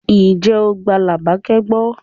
Ǹjẹ́ o gba Labake gbọ́?